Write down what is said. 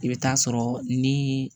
I bɛ taa sɔrɔ ni